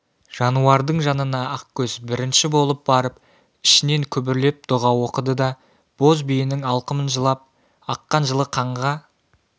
жануардың жанына ақкөз бірінші болып барып ішінен күбірлеп дұға оқыды да боз биенің алқымынан жылап аққан жылы қанға